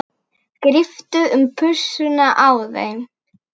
Gríptu um pussuna á þeim.